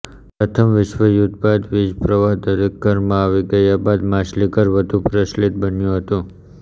પ્રથમ વિશ્વયુદ્ધ બાદ વીજ પ્રવાહ દરેક ઘરમાં આવી ગયા બાદ માછલીઘર વધુ પ્રચલિત બન્યું હતું